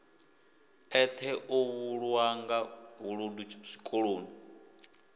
eṱhe u vhulawanga vhuludu zwikoloni